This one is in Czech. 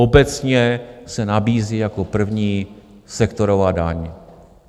Obecně se nabízí jako první sektorová daň.